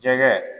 Jɛgɛ